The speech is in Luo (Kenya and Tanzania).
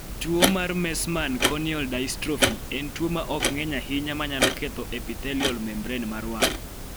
Tuo mar Meesmann corneal dystrophy en tuo ma ok ng�eny ahinya ma nyalo ketho epithelial membrane mar wang�.